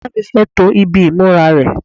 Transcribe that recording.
ìyá mi fẹ́ to ibi ìmúra rẹ̀